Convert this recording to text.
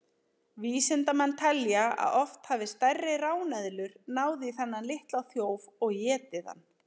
Vísindamenn telja að oft hafi stærri ráneðlur náð í þennan litla þjóf og étið hann.